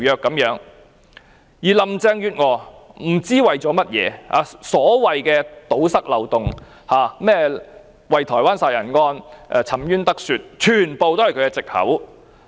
不知道林鄭月娥為了甚麼，所謂要堵塞條例的漏洞、讓台灣兇殺案的受害人沉冤得雪，全部都是她的藉口。